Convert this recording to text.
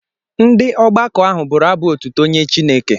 Ndị ọgbakọ ahụ bụrụ abụ otuto nye Chineke.